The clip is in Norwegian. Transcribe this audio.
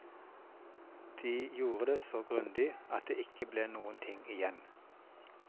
De gjorde det så grundig at det ikke ble noen ting igjen.